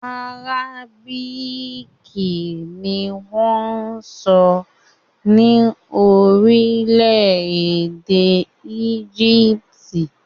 Àrábíìkì ni wọ́n ń sọ ní orílẹ̀-èdè Égípítì